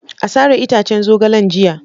A sare itaccen zogalen jiya.